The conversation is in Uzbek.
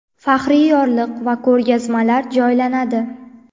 faxriy yorliq va ko‘rgazmalar joylanadi.